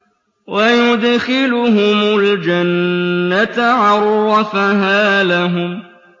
وَيُدْخِلُهُمُ الْجَنَّةَ عَرَّفَهَا لَهُمْ